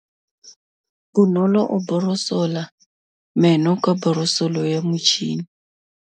Bonolô o borosola meno ka borosolo ya motšhine.